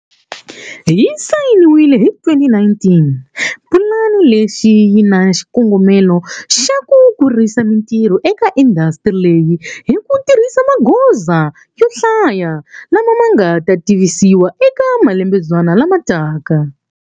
Yi sayiniwile hi 2019, pulani lexi yi na xikongomelo xa ku kurisa mitirho eka indasitiri leyi hi ku tirhisa magoza yo hlaya lama ma nga ta tivisiwa eka malembenyana lama taka.